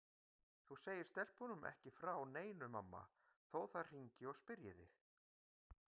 Þú segir stelpunum ekki frá neinu mamma þó þær hringi og spyrji þig.